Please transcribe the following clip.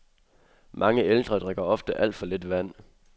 Mange ældre drikker ofte alt for lidt vand.